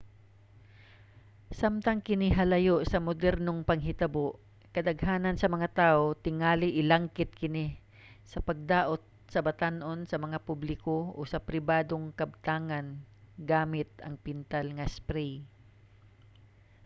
samtang kini halayo sa modernong panghitabo kadaghanan sa mga tawo tingali ilangkit kini sa pagdaot sa batan-on sa mga publiko o pribadong kabtangan gamit ang pintal nga spray